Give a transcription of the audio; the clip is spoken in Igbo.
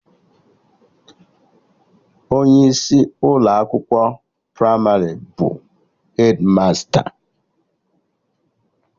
Onye isi Ụlọ akwụkwọ pramarị bụ hedmasta